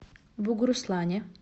бугуруслане